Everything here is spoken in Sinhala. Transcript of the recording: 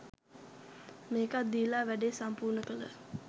මේකත් දීලා වැඩේ සම්පූර්ණ කළ